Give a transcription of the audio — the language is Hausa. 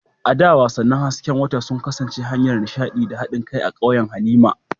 A da, wasannin hasken wata sun kasance hanyar nishaɗi da haɗin kai a ƙauyen Halima.